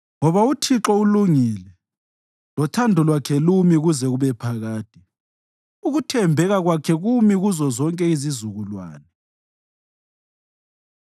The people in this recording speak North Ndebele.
Ngoba uThixo ulungile lothando lwakhe lumi kuze kube phakade; ukuthembeka kwakhe kumi kuzozonke izizukulwane.